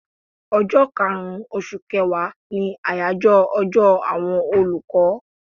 Ọjọ́ kaàrun oṣù kẹwàá ni àyájọ́ ọjọ́ àwọn olùkọ́